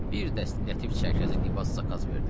Bir dəst lətif çərkəzi libas zakaz verdim.